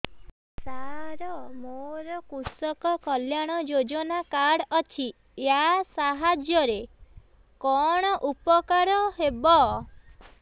ସାର ମୋର କୃଷକ କଲ୍ୟାଣ ଯୋଜନା କାର୍ଡ ଅଛି ୟା ସାହାଯ୍ୟ ରେ କଣ ଉପକାର ହେବ